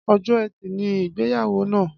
Ọjọ ẹtì ni igbeyawo na